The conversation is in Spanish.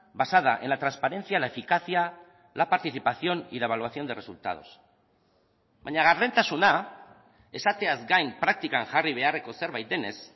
basada en la transparencia la eficacia la participación y la evaluación de resultados baina gardentasuna esateaz gain praktikan jarri beharreko zerbait denez